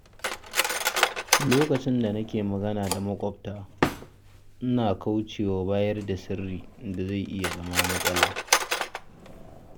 Lokacin da nake magana da maƙwabta, ina kauce wa bayar da sirrin da zai iya zama matsala.